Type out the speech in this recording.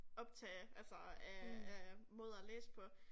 Optage altså af af måder at læse på